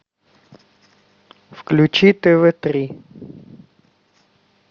включи тв три